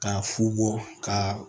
K'a fugu ka